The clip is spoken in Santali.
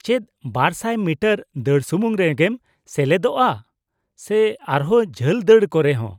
ᱼ ᱪᱮᱫ ᱒᱐᱐ ᱢᱤᱴᱟᱨ ᱫᱟᱹᱲ ᱥᱩᱢᱩᱝ ᱨᱮᱜᱮᱢ ᱥᱮᱞᱮᱫᱚᱜᱼᱟ ᱥᱮ ᱟᱨᱦᱚᱸ ᱡᱷᱟᱹᱞ ᱫᱟᱹᱲ ᱠᱚᱨᱮᱦᱚᱸ ?